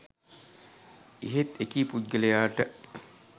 එහෙත් එකී පුද්ගලයාට